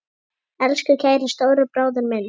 Elsku kæri stóri bróðir minn.